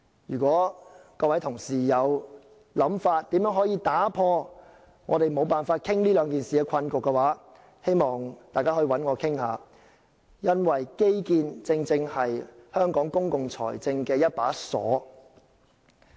如果各位同事對如何打破我們無法討論這兩項議題的困局有任何想法，可以找我談談，因為基建正是香港公共財政的一把鎖。